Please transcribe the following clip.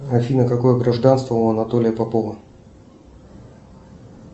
афина какое гражданство у анатолия попова